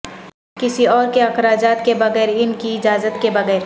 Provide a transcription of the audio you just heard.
کسی اور کے اخراجات کے بغیر ان کی اجازت کے بغیر